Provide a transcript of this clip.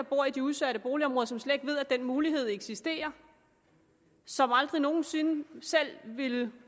bor i de udsatte boligområder som slet ikke ved at den mulighed eksisterer som aldrig nogen sinde selv ville